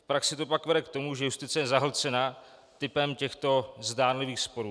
V praxi to pak vede k tomu, že justice je zahlcena typem těchto zdánlivých sporů.